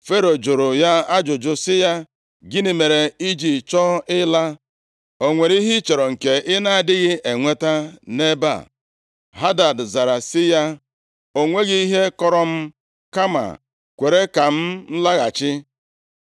Fero jụrụ ya ajụjụ sị ya, “Gịnị mere i ji chọọ ịla? O nwere ihe ị chọrọ nke ị na-adịghị enweta nʼebe a?” Hadad zara sị ya, “O nweghị ihe kọrọ m, kama kwere ka m laghachi.”